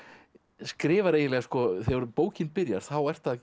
skrifar eiginlega þegar bókin byrjar ertu